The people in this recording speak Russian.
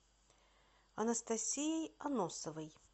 анастасией аносовой